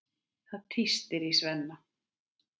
Það tístir í Svenna.